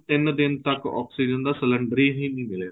ਸਾਨੂੰ ਤਿੰਨ ਦਿਨ ਤੱਕ oxygen ਦਾ cylinder ਹੀ ਨਹੀਂ ਮਿਲਿਆ